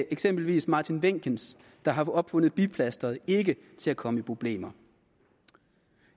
eksempelvis martin wenckens der har opfundet biplastret ikke til at komme i problemer